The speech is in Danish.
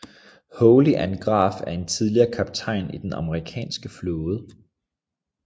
Holly Ann Graf er en tidligere kaptajn i Den amerikanske flåde